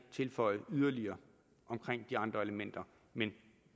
tilføje yderligere omkring de andre elementer men